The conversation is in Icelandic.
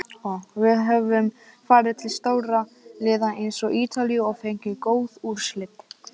Við höfum farið til stórra liða eins og Ítalíu og fengið góð úrslit.